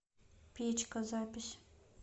печка запись